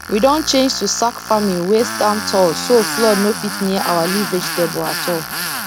we don change to sack farming wey stand tall so flood no fit near our leaf vegetable at all